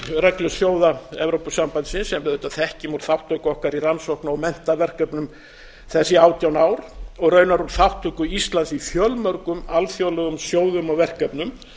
meginreglu sjóða evrópusambandsins sem við auðvitað þekkjum úr þátttöku okkar í rannsókna og menntaverkefnum þessi átján ár og raunar um þátttöku íslands í fjölmörgum alþjóðlegum sjóðum og verkefnum